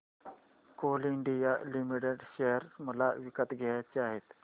Coal India limited share मला विकत घ्यायचे आहेत